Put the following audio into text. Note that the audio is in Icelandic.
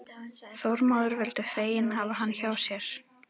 Þormóður vildu fegin hafa hann hjá sér.